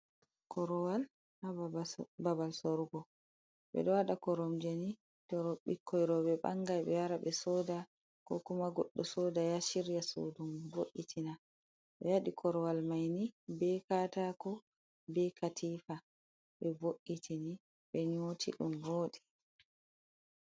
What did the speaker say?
"Korowal"ha babal sorugo ɓeɗo waɗa a koromjeni to ɓikkoi roɓe bangai ɓe wara ɓe soda ko kuma goɗɗo soda yaha shirya sudu mum vo’’itina ɓe wadi korowal maini be katako be katifa ɓe vo’’itini be nyoti ɗum voɗi.